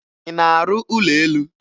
Ị na-arụ ụlọ elu?